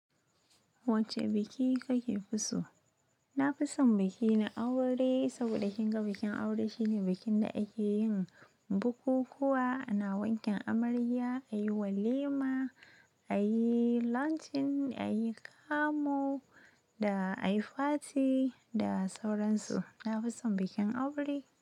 Wacce biki kake fi so? Na fi son biki na aure saboda kinga bikin aure shine bikin da ake yin bukukuwa, ana wanken amarya, ayi walima, ayi launching, ayi kamu da ayi party da sauransu. Na fi son bikin aure.